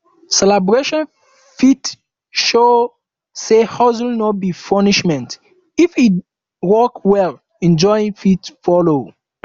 celebration fit show sey hustle no be punishment if e work well enjoyment fit follow